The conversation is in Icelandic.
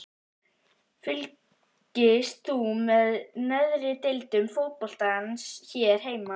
Fylgist þú með neðri deildum fótboltans hér heima?